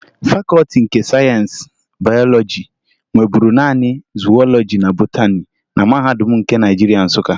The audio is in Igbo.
Fakọọti nke Sayensị Bayọlọji nweburu naanị zuwọlọji na botani na Mahadum nke Naịjirịa, Nsụka